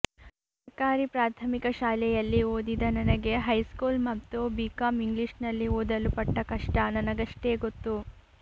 ಸರಕಾರಿ ಪ್ರಾಥಮಿಕ ಶಾಲೆಯಲ್ಲಿ ಓದಿದ ನನಗೆ ಹೈಸ್ಕೂಲ್ ಮತ್ತು ಬಿಕಾಂ ಇಂಗ್ಲಿಷ್ನಲ್ಲಿ ಓದಲು ಪಟ್ಟ ಕಷ್ಟ ನನಗಷ್ಟೇ ಗೊತ್ತು